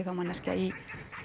þá manneskja í